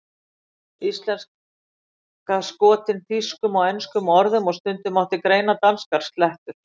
Íslenska skotin þýskum og enskum orðum og stundum mátti greina danskar slettur.